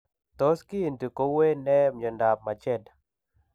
Tos kiinti ko wuuy neee myondap majeed?